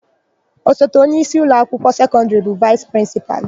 Osote onyeisi ụlọakwụkwọ sekọndịrị bụ vaịsị prịnsịpalụ.